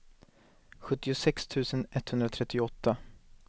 sjuttiosex tusen etthundratrettioåtta